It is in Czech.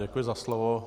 Děkuji za slovo.